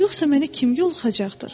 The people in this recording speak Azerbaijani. Yoxsa məni kim yoxacaqdır?